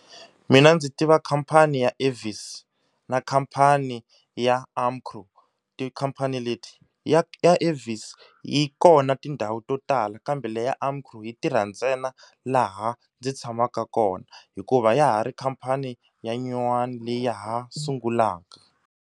Mina ndzi tiva khampani ya Avis na khampani ya Amcro, tikhampani leti ya ya Avis yi kona tindhawu to tala kambe leyi ya Amcroo yi tirha ntsena laha ndzi tshamaka kona hikuva ya ha ri khampani ya nyuwana leyi ha sungulaka.